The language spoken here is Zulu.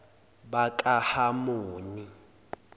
bakahamoni